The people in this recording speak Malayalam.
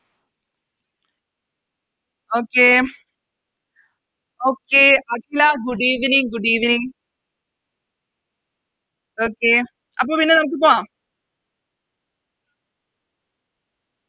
Okay Okay Akhila Good evening good evening Okay അപ്പൊ പിന്നെ നമുക്ക് പോകാം